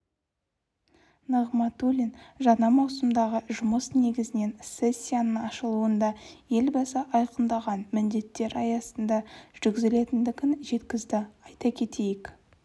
нығматулин жаңа маусымдағы жұмыс негізінен сессияның ашылуында елбасы айқындаған міндеттер аясында жүргізілетіндігін жеткізді айта кетейік